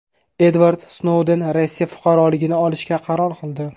Edvard Snouden Rossiya fuqaroligini olishga qaror qildi.